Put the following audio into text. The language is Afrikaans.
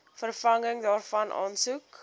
vervanging daarvan aansoek